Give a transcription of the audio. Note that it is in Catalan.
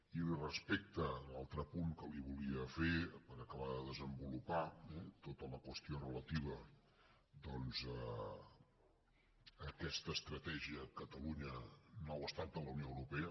i respecte a l’altre apunt que li volia fer per acabar de desenvolupar tota la qüestió relativa a aquesta estratègia catalunya nou estat de la unió europea